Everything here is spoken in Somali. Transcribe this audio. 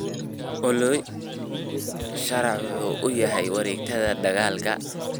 olly sharax waxa uu yahay wareegtada dalagga